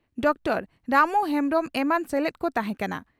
Doctor Ramu ᱦᱮᱢᱵᱽᱨᱚᱢ ᱮᱢᱟᱱ ᱥᱮᱞᱮᱫ ᱠᱚ ᱛᱟᱦᱮᱸ ᱠᱟᱱᱟ ᱾